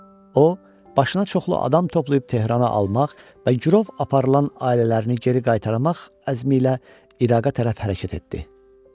O, başına çoxlu adam toplayıb Tehrana almaq və girov aparılan ailələrini geri qaytarmaq əzmi ilə İraqa tərəf hərəkət etdi.